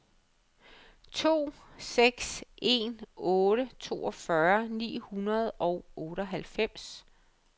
to seks en otte toogfyrre ni hundrede og otteoghalvfems